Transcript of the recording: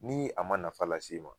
Ni a ma nafa lase e ma